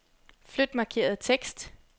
Flyt markerede tekst.